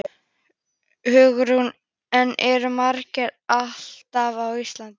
Hugrún: En eru margir álfar á Íslandi?